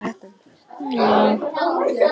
Ég skal aðeins minnast á eitt atriði.